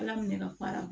Ala minɛ ka fara